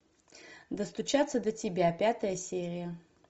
достучаться до тебя пятая серия